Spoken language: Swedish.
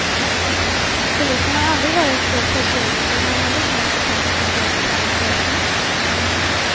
Polisen har aldrig varit så förtegen men har heller inte haft ett så komplicerat fall att lösa.